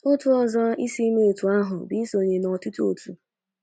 Otu ụzọ isi mee otu ahụ bụ isonye n' ọtụtụ otu.